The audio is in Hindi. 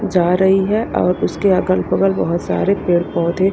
जा रही हैं और उसके अगल बगल बहोत सारे पेड़ पौधे--